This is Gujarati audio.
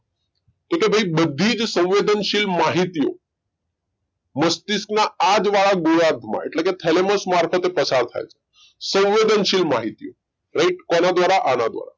કે ભાઈ બધી જ સંવેદનશીલ માહિતીઓ મસ્તિષ્કના આ જ વાળા ગોળાર્ધમાં એટલે કે thalamus મારફતે પસાર થાય છે સંવેદનશીલ માહિતી right કોના દ્વારા આના દ્વારા